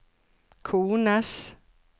kones